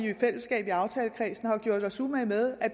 i aftalekredsen har gjort os umage med